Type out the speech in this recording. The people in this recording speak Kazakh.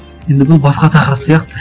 енді бұл басқа тақырып сияқты